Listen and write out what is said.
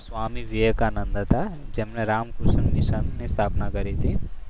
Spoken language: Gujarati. સ્વામી વિવેકાનંદ હતા. જેમણે રામકૃષ્ણ મિશન ની સ્થાપના કરી હતી.